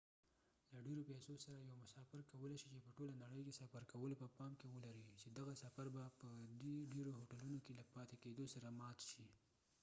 له ډيرو پیسو سره یو مسافر کولی شي چې په ټوله نړۍ سفر کولو په پام کې ولري چې دغه سفر به په دې ډیرو هوټلونو کې له پاتې کیدو سره مات شي